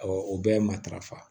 o bɛɛ ye matarafa